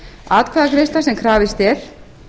atkvæðagreiðsla sem krafist er